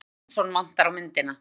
Jóhann Sæmundsson vantar á myndina.